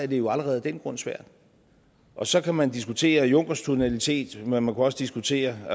det jo allerede af den grund svært og så kan man diskutere junckers tonalitet men man kunne også diskutere